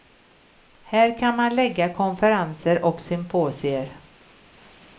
Här kan man lägga konferenser och symposier.